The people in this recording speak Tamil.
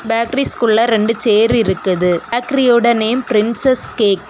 பேக்கரிஸ்குள்ள ரெண்டு சேர் இருக்குது பேக்கரிஸோட பேரு பிரின்சஸ் கேக் .